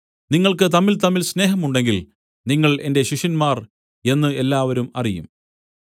നിങ്ങൾക്ക് തമ്മിൽതമ്മിൽ സ്നേഹം ഉണ്ടെങ്കിൽ നിങ്ങൾ എന്റെ ശിഷ്യന്മാർ എന്നു എല്ലാവരും അറിയും